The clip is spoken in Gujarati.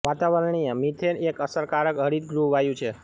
વાતાવરણીય મિથેન એક અસરકારક હરિત ગૃહ વાયુ છે